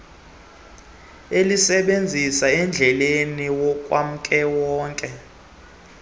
alisebenzise endleleni kawonkewonke